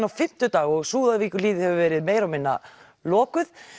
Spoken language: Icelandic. á fimmtudag og Súðavíkurhlíð hefur verið meira og minna lokuð